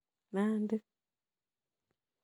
Nandi